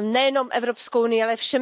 nejenom Evropskou unií, ale všemi světadíly,